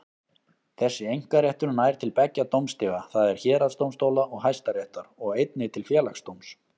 Þessi einkaréttur nær til beggja dómstiga, það er héraðsdómstóla og Hæstaréttar, og einnig til Félagsdóms.